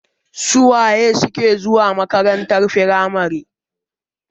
su wa suke zuwa makarantar firamare?